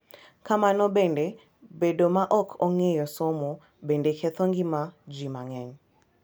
Kamano bende, bedo ma ok ong’eyo somo bende ketho ngima ji mang’eny .